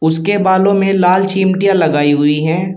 उसके बालों में लाल चिमटिया लगाई हुई हैं।